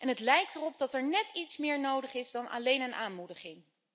Het lijkt erop dat er nét iets meer nodig is dan alleen een aanmoediging.